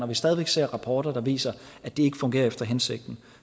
vi stadig væk ser rapporter der viser at det ikke fungerer efter hensigten